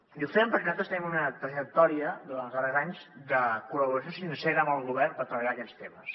i ho fem perquè nosaltres tenim una trajectòria durant els darrers anys de col·laboració sincera amb el govern per treballar aquests temes